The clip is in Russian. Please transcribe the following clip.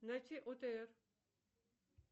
найти отр